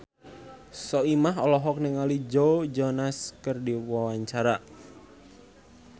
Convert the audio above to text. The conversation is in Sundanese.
Soimah olohok ningali Joe Jonas keur diwawancara